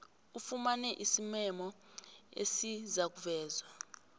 ufumane isimemo esizakuvezwa